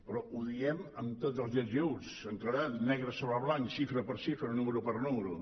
però ho diem amb tots els ets i uts amb claredat negre sobre blanc xifra per xifra número per número